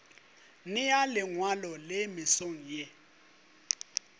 nea lengwalo le mesong ye